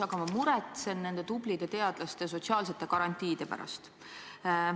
Aga ma muretsen nende tublide teadlaste sotsiaalsete garantiide pärast.